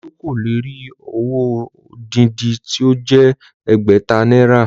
Olú kò lè rí owó odindi tí ó jẹ́ ẹgbẹ̀ta náírà